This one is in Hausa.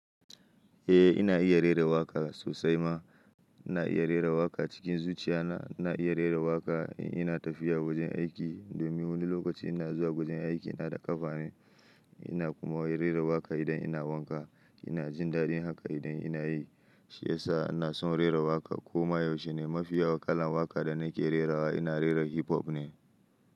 Eh ina iya rera waƙa sosai ma. Ina iya rera waƙa cikin zuciya na. Ina iya rera waƙa ina tafiya zuwa gurin aiki. Domin wani lokaci ina zuwa gurin aiki ina da ƙafa ne. Ina kuma rera waƙa idan ina wanka. Ina jin daɗi haka idan ina yi. Shi ya sa ina son rera waƙa. Koma yaushe ne mafiya waƙa kalan waƙa da nake rerawa ina rerawa hip hop ne.